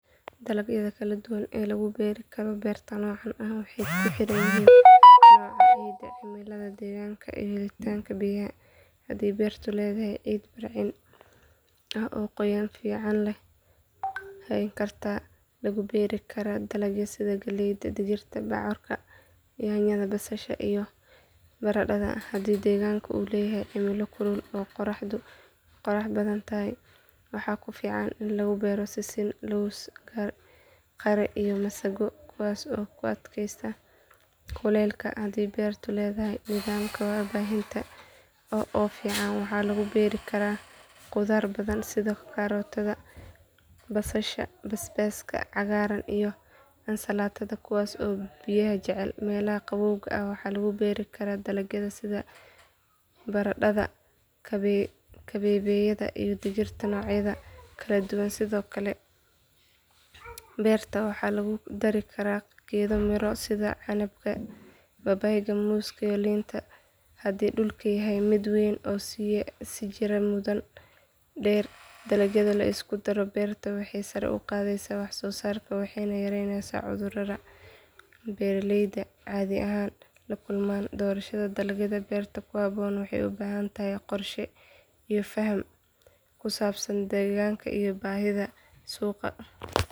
Dalagyada kala duwan ee lagu beeri karo beerta noocaan ah waxay ku xiran yihiin nooca ciidda, cimilada deegaanka iyo helitaanka biyaha. Haddii beertu leedahay ciid bacrin ah oo qoyaan fiican hayn karta waxaa lagu beeri karaa dalagyo sida galleyda, digirta, bocorka, yaanyada, basal, iyo baradhada. Haddii deegaanka uu leeyahay cimilo kulul oo qorraxdu badan tahay waxaa ku fiican in lagu beero sisin, lows, qare, iyo masago kuwaas oo u adkaysta kuleylka. Haddii beertu leedahay nidaam waraabin ah oo fiican waxaa lagu beeri karaa khudaar badan sida karootada, kaabashka, basasha cagaaran iyo ansalaatada kuwaas oo biyaha jecel. Meelaha qabowga ah waxaa lagu beeri karaa dalagyo sida barandhada, kabeebeyda iyo digirta noocyadeeda kala duwan. Sidoo kale beerta waxaa lagu dari karaa geedo miro sida canabka, babayga, muuska iyo liinta haddii dhulku yahay mid weyn oo sii jiraya muddo dheer. Dalagyada la isku daro beerta waxay sare u qaadaan wax soo saarka waxayna yareeyaan cudurrada beeraleyda caadi ahaan la kulmaan. Doorashada dalagyada beerta ku habboon waxay u baahan tahay qorshe iyo faham ku saabsan deegaanka iyo baahida suuqa.